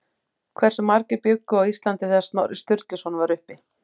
Hversu margir bjuggu á Íslandi þegar Snorri Sturluson var uppi?